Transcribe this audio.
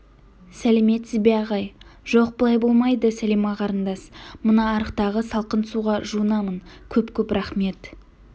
сәлеметсіз бе ағай жоқ былай болмайды сәлима қарындас мына арықтағы салқын суға жуынамын көп-көп рақмет